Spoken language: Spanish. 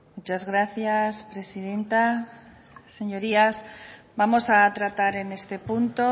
muchas gracias presidenta señorías vamos a tratar en este punto